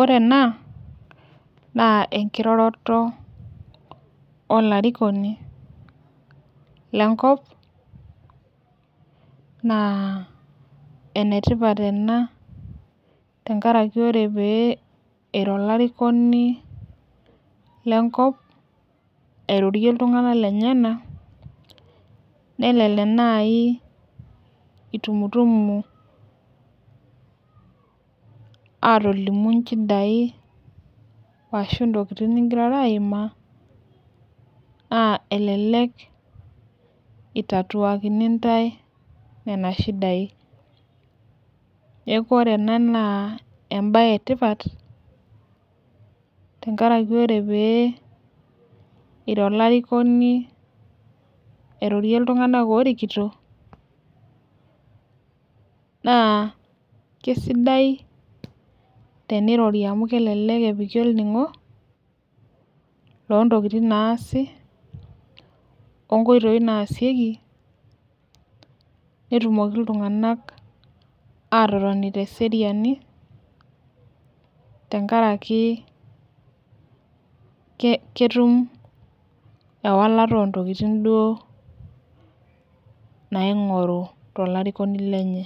Ore naa enkiroroto olarikoni lenkop naa enetipat ena tenkaraki ore pee iro alarikoni lenkop airorie iltung'anak lenyenak nelelek naai itumutum aatolimu nchidai arashu ntokitin nigirara aimiaa naa elelek itatuakini ntae nena shidai neeku ore ena naa embaye etipat tenkari ore pee iro olarikoni airorie iltung'anak oorikito naa kesidai tenirori amu kelelek epiki olning'o loontokitin naasi onkoitoi naasieki netunoki iltung'anak aatotoni teseriani tenkaraki ketum ewalata ontokitin duoo naing'oru tolarikoni lenye,